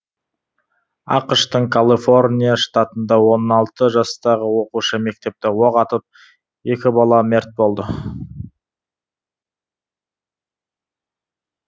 ақш тың калыфорния штатында он алты жастағы оқушы мектепте оқ атып екі бала мерт болды